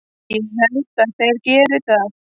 Ég held að þeir geri það!